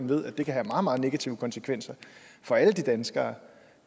ved at det kan have meget meget negative konsekvenser for alle de danskere